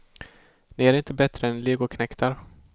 Ni är inte bättre än legoknektar.